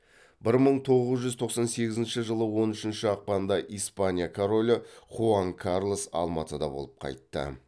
бір мың тоғыз жүз тоқсан сегізінші жылы он үшінші ақпанда испания королі хуан карлос алматыда болып қайтты